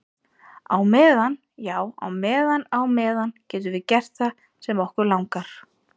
Á meðan, já á meðan á meðan getum við gert það sem okkur langar til.